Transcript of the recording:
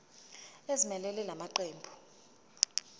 ezimelele la maqembu